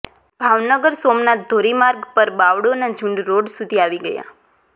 ભાવનગર સોમનાથ ધોરીમાર્ગ પર બાવળોના ઝુંડ રોડ સુધી આવી ગયા